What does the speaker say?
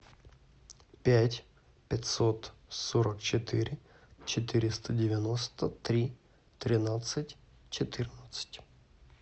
пять пятьсот сорок четыре четыреста девяносто три тринадцать четырнадцать